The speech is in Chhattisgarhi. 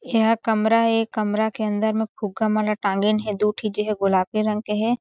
यह कमरा हे ए कमरा के अंदर में फुगा वाला टांगेन हे दू ठे जे है गुलाबी रंग के हे।